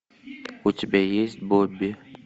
у тебя есть бобби